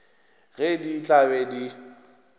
ge di tla be di